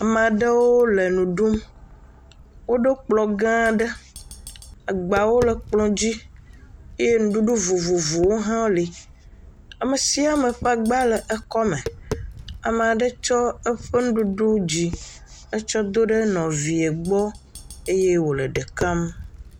Ama ɖewo le nu ɖum, woɖo kplɔ gã aɖe agbawo le kplɔ dzi eye nuɖuɖu vovovowo hã le, ame sia ame ƒe agbawo le eƒe akɔme, ame aɖe tsɔ eƒe nuɖuɖu dzi etsyɔ̃ do ɖe nɔvie gbɔ eye wòle eɖe kam.